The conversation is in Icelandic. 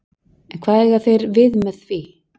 En hvað eiga þeir við með því?